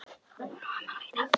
Hún á afmæli í dag.